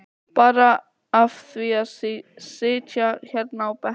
Bara af því að sitja hérna á bekkjunum.